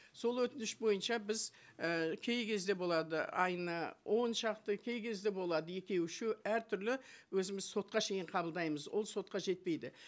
сол өтініш бойынша біз і кей кезде болады айына он шақты кей кезде болады екеу үшеу әртүрлі өзіміз сотқа шейін қабылдаймыз ол сотқа жетпейді